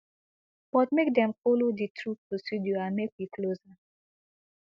but make dem follow di true procedure and make we close am